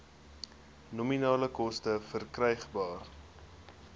nominale koste verkrygbaar